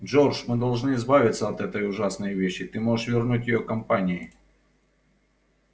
джордж мы должны избавиться от этой ужасной вещи ты можешь вернуть её компании